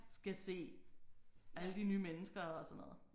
Skal se alle de nye mennesker og sådan noget